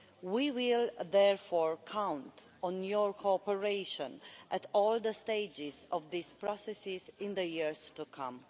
We will therefore count on your cooperation at all the stages of these processes in the years to come.